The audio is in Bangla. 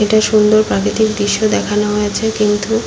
এটা সুন্দর প্রাকৃতিক দৃশ্য দেখানো হয়েছে কিন্তু--